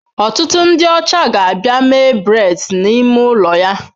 Ọtụtụ ndị ọcha ga-abịa mee braids n'ime ụlọ ya.